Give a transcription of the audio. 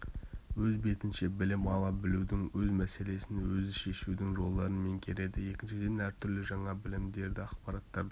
өз бетінше білім ала білудің өз мәселесін өзі шешудің жолдарын меңгереді екіншіден әртүрлі жаңа білімдерді ақпараттарды